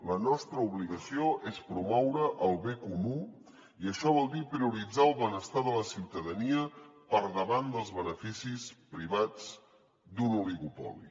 la nostra obligació és promoure el bé comú i això vol dir prioritzar el benestar de la ciutadania per davant dels beneficis privats d’un oligopoli